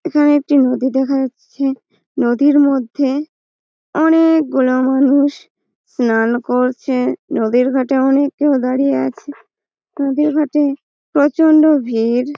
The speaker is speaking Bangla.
এখানে একটা নদী দেখা যাচ্ছে। নদীর মধ্যে অনেক গুলা মানুষ চান করছে। নদীর ঘাটে অনেকে দাঁড়িয়ে আছে নদীর ঘাটে প্রচন্ড ভিড়।